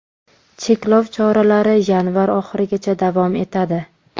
Cheklov choralari yanvar oxirigacha davom etadi.